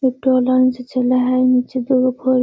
ऊपर लाइन से चला हई निचे दूगो पोल --